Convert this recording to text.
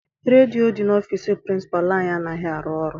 Redio dị n'ọfịịsi pirincipalu anyị anaghị arụ ọrụ.